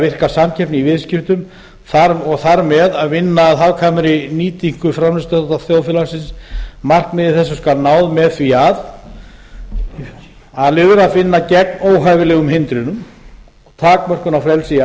virka samkeppni í viðskiptum og þar með vinna að hagkvæmri nýtingu framleiðsluþátta þjóðfélagsins markmiði þessu skal náð með því að a vinna gegn óhæfilegum hindrunum og takmörkunum á frelsi í